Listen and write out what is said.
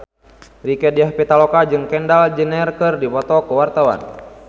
Rieke Diah Pitaloka jeung Kendall Jenner keur dipoto ku wartawan